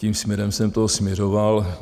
Tím směrem jsem toto směřoval.